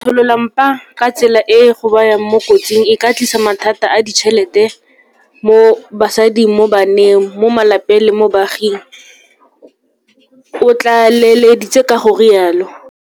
Go tsholola mpa ka tsela e e go bayang mo kotsing e ka tlisa mathata a ditšhelete mo basading, mo baneng, mo malapeng le mo baaging, o tlaleleditse ka go rialo.